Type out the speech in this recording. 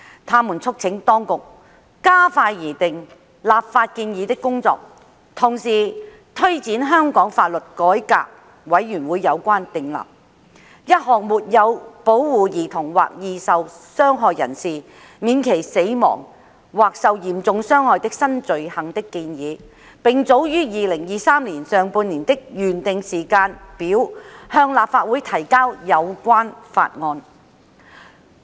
他們促請當局加快擬訂立法建議的工作，同時推展香港法律改革委員會有關訂立沒有保護兒童或易受傷害人士免其死亡或受嚴重傷害的新罪行的建議，並早於2023年上半年的原訂時間表向立法會提交有關法案。